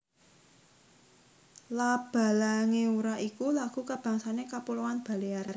La Balanguera iku lagu kabangsané Kapuloan Balear